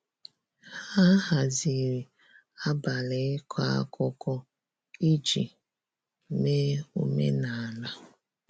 ha haziri abali iko akụkọ iji mee omenala.